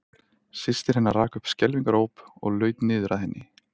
Systir hennar rak upp skelfingaróp og laut niður að henni.